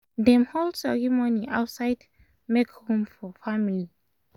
dem hold ceremony outside make room for family